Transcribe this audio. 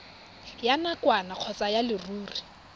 ya nakwana kgotsa ya leruri